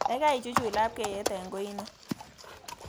Gaigai ichuchuch labkeiyet eng koin oo